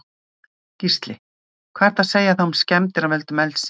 Gísli: Hvað er að segja þá um skemmdir að völdum eldsins?